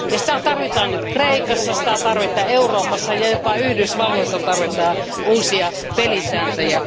Ja niitä tarvitaan nyt Kreikassa, niitä tarvitaan Euroopassa, ja jopa Yhdysvalloissa tarvitaan uusia pelisääntöjä.